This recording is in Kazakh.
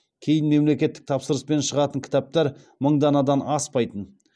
кейін мемлекеттік тапсырыспен шығатын кітаптар мың данадан аспайтын